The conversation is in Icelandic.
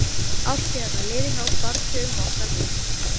Árstíðirnar liðu hjá barnsaugunum okkar Mumma.